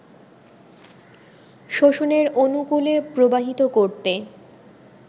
শোষণের অনুকূলে প্রবাহিত করতে